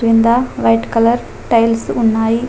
కింద white colour tiles ఉన్నాయి.